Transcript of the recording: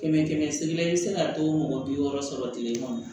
Kɛmɛ kɛmɛ segi la i bɛ se ka to mɔgɔ bi wɔɔrɔ sɔrɔ tile kɔnɔ